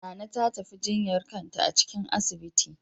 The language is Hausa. Nana ta tafi jinyar kanta a cikin asibitin.